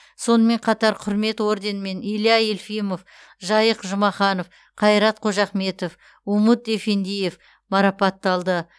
сонымен қатар құрмет орденімен илья елфимов жайық жұмаханов қайрат қожахметов умуд эфендиев марапатталды